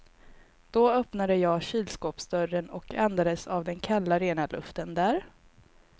Då öppnade jag kylskåpsdörren och andades av den kalla rena luften där.